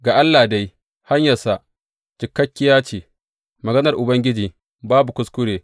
Ga Allah dai, hanyarsa cikakkiya ce; maganar Ubangiji babu kuskure.